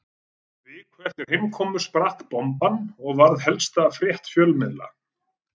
Viku eftir heimkomuna sprakk bomban og varð helsta frétt fjölmiðla